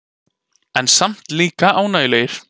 En samt líka ánægjulegir.